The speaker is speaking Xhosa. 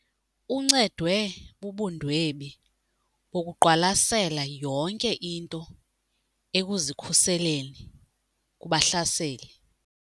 Uncedwe bubundwebi bokuqwalasela yonke into ekuzikhuseleni kubahlaseli.